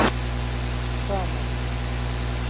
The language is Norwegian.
Træna